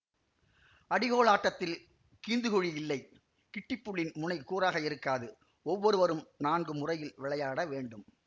அடிகோல் ஆட்டத்தில் கீந்துகுழி இல்லை கிட்டிப்புள்ளின் முனை கூராக இருக்காது ஒவ்வொருவரும் நான்கு முறையில் விளையாடவேண்டும்